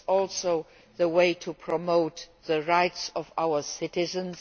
It is also the way to promote the rights of our citizens.